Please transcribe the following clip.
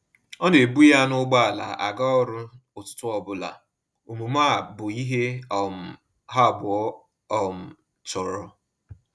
Ọ na ebu ya na ụgbọala aga ọrụ ụtụtụ ọbụla, omume a bụ ihe um ha abụọ um chọrọ.